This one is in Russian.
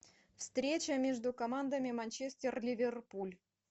встреча между командами манчестер ливерпуль